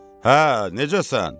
Hə, necəsən?